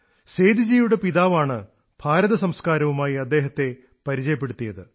സേദിജിയുടെ പിതാവാണ് ഭാരതസംസ്കാരവുമായി അദ്ദേഹത്തെ പരിചയപ്പെടുത്തിയത്